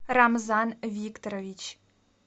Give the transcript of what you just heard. рамзан викторович